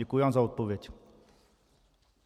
Děkuji vám za odpověď.